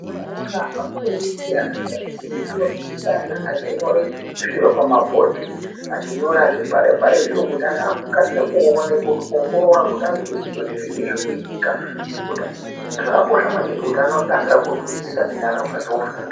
Kuzvikora afundisi vanodzidzsa ana kunyore zviro pamabhodi ,kunyora bechi bhare bhare kuti ana vakasire kuwona ,kuwongorora kuda kuti zvinyi zvirikuitika, zvakakosha maningi ngekuti anokasira kunzwisisisa ende anokasira kufunda.